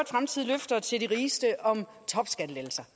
fremtidige løfter til de rigeste om topskattelettelser